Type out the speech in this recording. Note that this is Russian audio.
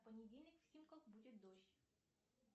в понедельник в химках будет дождь